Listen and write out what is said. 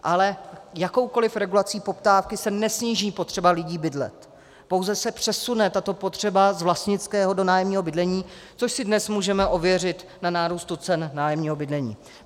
Ale jakoukoliv regulací poptávky se nesníží potřeba lidí bydlet, pouze se přesune tato potřeba z vlastnického do nájemního bydlení, což si dnes můžeme ověřit na nárůstu cen nájemního bydlení.